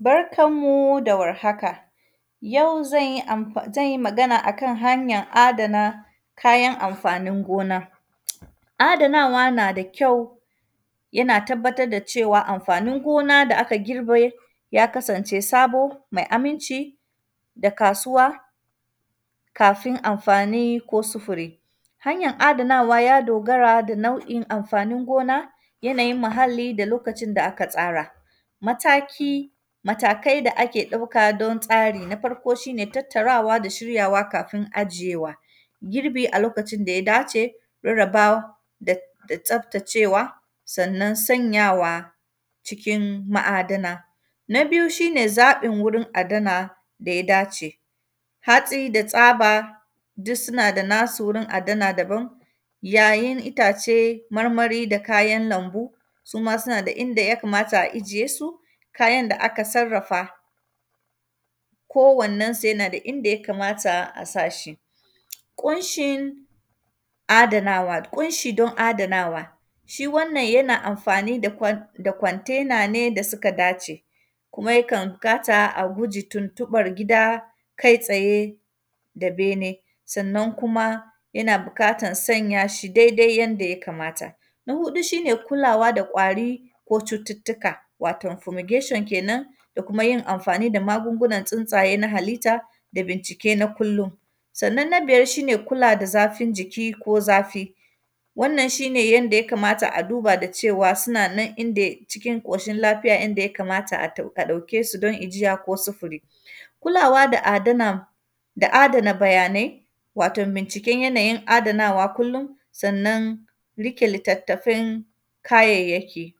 Barkan mu da warhaka, yau zan yi amfa; zan yi magana a kan hanyan adana kayan amfanin gona. Adanawa na da kyau, yana tabbatad da cewa amfanin gona da aka girbe ya kasance sabo, mai aminci da kasuwa, kafin amfani ko sifiri. Hanyan adanawa, ya dogara da nau’in amfanin gona, yanayin muhalli da lokacin da aka tsara. Mataki, matakai da ake ɗauka don tsari, na farko, shi ne tattarawa da shiryawa kafin ajiyewa, girbi a lokacin da ya dace, rarraba da; da tsaftacewa. Sannan, sanyawa cikin ma’adana, na biyu, shi ne zaƃin wurin adana da ya dace. Hatsi da tyaba, dus suna da nasu wurin adana daban. Yayin itace marmari da kayan lambu, su ma sina da inda ya kamata a ijiye su. Kayan da aka sarrafa, kowannensu, yana da inda ya kamata a sa shi. Ƙunshin adanawa, ƙunshi don adanawa, shi wannan, yana amfani da kwan; da kwantena ne da sika dace, kuma yakan kata a guji tuntuƃar gida kai-tsaye da bene. Sannan kuma, yana bikatan sanya shi daidai yanda ya kamata. Na huɗu, shi ne kulawa da ƙwari ko cututtuka, waton “fumigation” kenan, da kuma yin amfani da magungunan tsintsaye na halitta da bincike na kullin. Sannan, na biyar, shi ne kula da zafin jiki ko zafi. Wannan, shi ne yanda ya kamata a duba da cewa, sina nan inda; cikin ƙoshin lafiya inda ya kamata a tau; ka ɗauke su don ijiya ko sifiri. Kulawa da adana, da adana bayanai, waton binciken yanayin adanawa kullin, sannan, rike litattafan kayayyaki.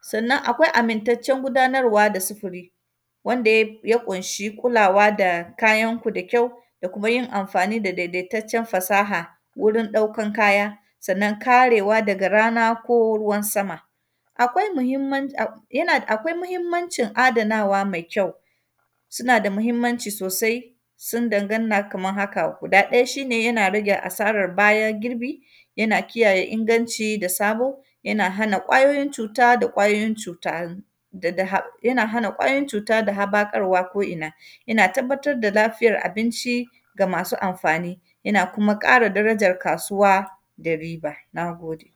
Sannan, akwai amintaccen gudanarwa da sifiri, wanda yai; ya ƙunshi kulawa da kayanku da kyau, da kuma yin amfani da dedetaccen fasaha wurin ɗaukan kaya. Sannan, karewa daga rana ko ruwan sama. Akwai muhimman; ab, yana; akwai muhimmancin adanawa mai kyau, sina da mahimmanci sosai, sin danganna kamar haka. Guda ɗaya, shi ne ya rage asara bayan girbi, yana kiyaye inganci da sabo, yana hana ƙwayoyin cuta da ƙwayoyin cuta wurin daga hab; yana hana ƙwayoyin cuta da habakarwa ko’ina. Yana tabbatar da lafiyar abinci ga masu amfani, yana kuma ƙara darajar kasuwa da riba, na gode.